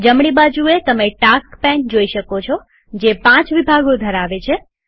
જમણી બાજુએતમે task pane જોઈ શકો છોજે પાંચ વિભાગો ધરાવે છે